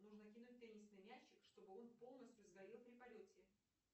нужно кинуть теннисный мячик чтобы он полностью сгорел при полете